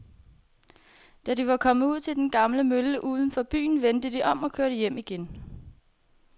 Da de var kommet ud til den gamle mølle uden for byen, vendte de om og kørte hjem igen.